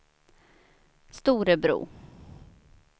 Storebro